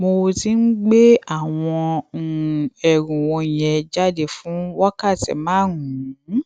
mo ti ń gbé àwọn um ẹrù wònyẹn jáde fún wákàtí márùnún